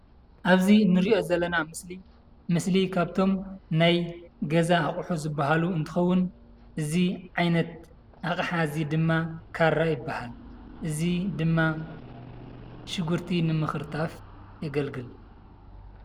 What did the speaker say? አብዚ እንሪኦ ዘለና ምስሊ ካብቶም ናይ ገዛ አቑሑ ዝበሃሉ እንትኸውን እዚ ዓይነት አቅሓ እዚ ድማ ካራ ይበሃል። እዚ ድማ ሽጉርቲ ንምክርታፍ የገልግል።